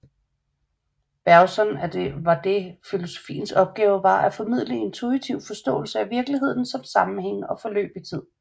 Bergson var det filosofiens opgave var at formidle en intuitiv forståelse af virkeligheden som sammenhænge og forløb i tid